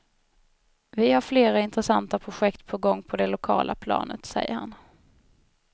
Vi har flera intressanta projekt på gång på det lokala planet, säger han.